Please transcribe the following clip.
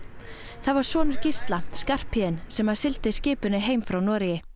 það var sonur Gísla Skarphéðinn sem að sigldi skipinu heim frá Noregi